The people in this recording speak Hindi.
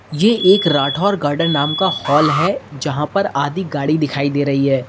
ये एक राठौर गार्डेन नाम का हॉल है यहां पर आधी गाड़ी दिखाई दे रही है।